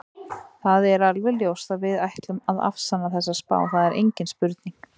Það er alveg ljóst að við ætlum að afsanna þessa spá, það er engin spurning.